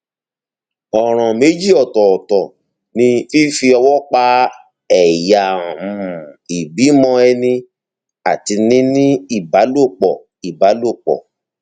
ọràn méjì ọtọọtọ ni fífi ọwọ pa ẹyà um ìbímọ ẹni àti níní ìbálòpọ ìbálòpọ